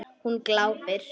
Hún glápir.